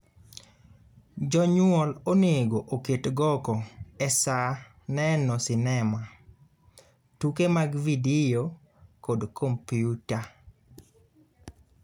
Jonyuol onego oket goko e saa neno sinema, tuke mag vidio kod kompyuta.